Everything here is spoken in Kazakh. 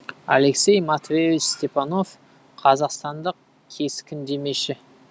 алексей матвеевич степанов қазақстандық кескіндемеші